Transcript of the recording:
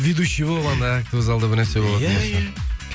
ведущий болып ана актовый залда бір нәрсе болатын болса